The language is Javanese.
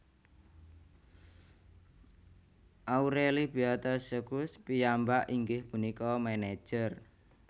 Aureli Beata Schulz piyambak inggih punika manager